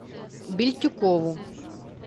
бельтюкову